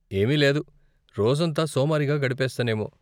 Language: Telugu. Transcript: ఏమీ లేదు, రోజంతా సోమరిగా గడిపేస్తానేమో.